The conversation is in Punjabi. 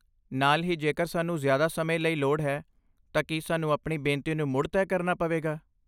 ਨਾਲ ਹੀ, ਜੇਕਰ ਸਾਨੂੰ ਜ਼ਿਆਦਾ ਸਮੇਂ ਲਈ ਲੋੜ ਹੈ, ਤਾਂ ਕੀ ਸਾਨੂੰ ਆਪਣੀ ਬੇਨਤੀ ਨੂੰ ਮੁੜ ਤੈਅ ਕਰਨਾ ਪਵੇਗਾ?